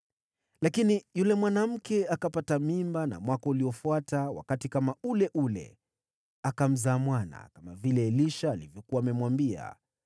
Lakini yule mwanamke akapata mimba, na mwaka uliofuata wakati kama ule ule akamzaa mwana, kama vile Elisha alivyokuwa amemwambia.